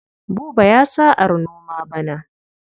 Buba ya sa'ar noma bana.